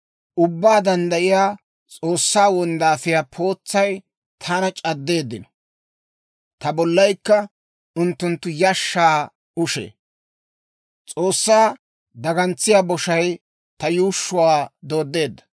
Ubbaa Danddayiyaa S'oossaa wonddaafiyaa pootsay taana c'addeeddino; ta bollaykka unttunttu yishshaa ushee. S'oossaa dagantsiyaa boshay ta yuushshuwaa dooddeedda.